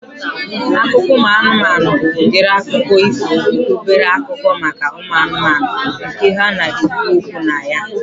Akụkọ ụmụ anụmanụ bụ udiri akụkọ ifo bụ obere akụkọ maka ụmụ anụmanụ nke ha na-ekwu okwu na ya